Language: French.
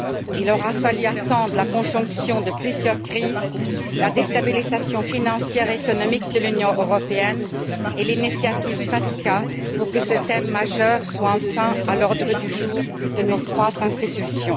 Il aura fallu attendre la conjonction de plusieurs crises, la déstabilisation financière et économique de l'Union européenne et l'initiative FATCA pour que ce thème majeur soit enfin à l'ordre du jour de nos trois institutions.